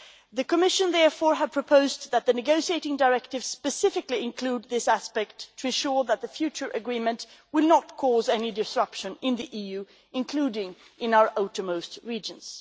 The Commission has therefore proposed that the negotiating directives specifically include this aspect to ensure that the future agreement will not cause any disruption in the EU, including in our outermost regions.